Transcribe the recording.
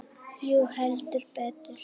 Jú, heldur betur